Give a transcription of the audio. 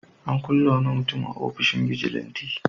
An kulle wani mutum a ofishin bijilanti.